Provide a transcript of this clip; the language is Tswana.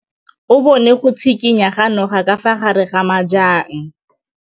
O bone go tshikinya ga noga ka fa gare ga majang.